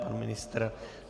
Pan ministr?